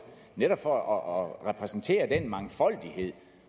netop for at repræsentere den mangfoldighed